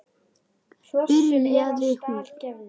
byrjaði hún.